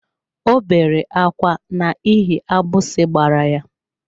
Ọ bere akwa n'ihi agbisi gbara ya.